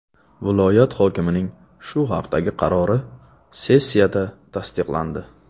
Viloyat hokimining shu haqdagi qarori sessiyada tasdiqlandi.